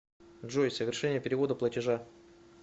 джой совершение перевода платежа